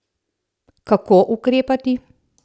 Kako ukrepati?